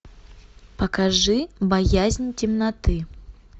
покажи боязнь темноты